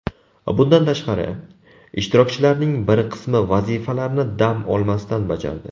Bundan tashqari, ishtirokchilarning bir qismi vazifalarni dam olmasdan bajardi.